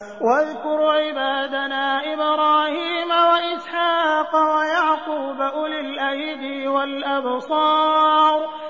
وَاذْكُرْ عِبَادَنَا إِبْرَاهِيمَ وَإِسْحَاقَ وَيَعْقُوبَ أُولِي الْأَيْدِي وَالْأَبْصَارِ